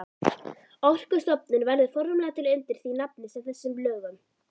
Orkustofnun verður formlega til undir því nafni með þessum lögum.